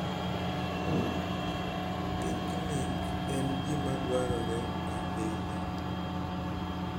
Piknik en gima dwarore ahinya